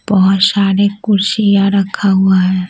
बहुत सारे कुर्षियां रखा हुआ है।